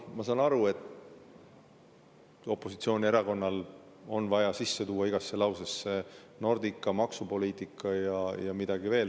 Ma saan aru, et opositsioonierakonnal on vaja igasse lausesse sisse tuua Nordica, maksupoliitika ja midagi veel.